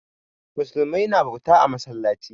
Musulmai na bauta a masallaci.